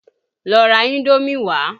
Lọ ra Indómì wá!